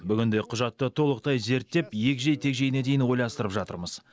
бүгінде құжатты толықтай зерттеп егжей тегжейіне дейін ойластырып жатырмыз